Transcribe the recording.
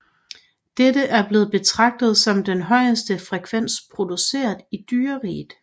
Dette er blevet betragtet som den højeste frekvens produceret i dyreriget